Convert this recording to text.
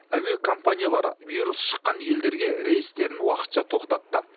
әуе компаниялары вирус шыққан елдерге рейстерін уақытша тоқтатты